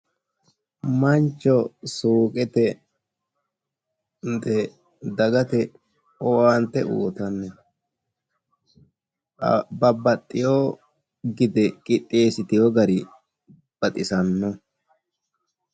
mancho suuqete dagate owaante uyiitanni no. babaxxeewo gide qixxeessitino gari baxisanno.